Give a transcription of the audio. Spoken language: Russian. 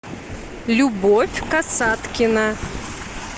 любовь касаткина